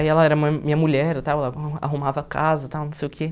Aí ela era ma minha mulher, eu estava a arrumava a casa tal, não sei o quê.